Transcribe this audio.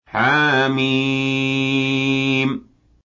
حم